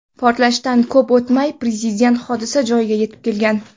Portlashdan ko‘p o‘tmay, Prezident hodisa joyiga yetib kelgan.